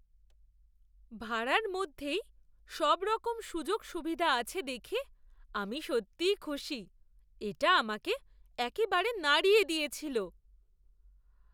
ভাড়ার মধ্যেই সবরকম সুযোগ সুবিধা আছে দেখে আমি সত্যি খুশি। এটা আমাকে একেবারে নাড়িয়ে দিয়েছিল!